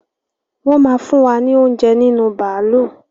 Wọn máa fún wa ní oúnjẹ nínú bàálú